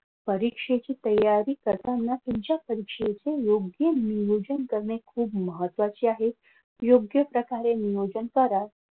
परीक्षेची तयारी करताना तुमच्या परीक्षेचे योग्य नियोजन करणे खूप महत्त्वाचे आहे. योग्य प्रकारे नियोजन करा.